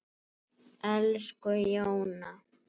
Elsku Jóna.